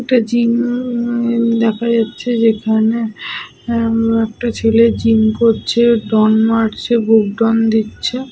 আঁ অনেক মেশিন পত্র রাখা রয়েছে। লোকটি সাদা রঙের টিশার্ট পরে রয়েছ। একটা মেরুন কালারের জুতো পরে আছ--